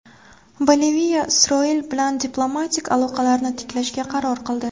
Boliviya Isroil bilan diplomatik aloqalarni tiklashga qaror qildi.